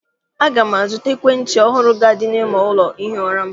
A ga m azụta ekwentị ọhụrụ ga- adị n'ime ụlọ ihi ụra m.